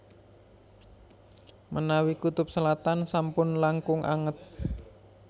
Menawi kutub selatan sampun langkung anget